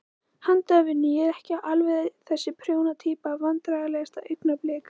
Handavinnu, ég er ekki alveg þessi prjóna týpa Vandræðalegasta augnablik?